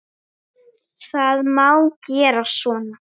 Það má gera svona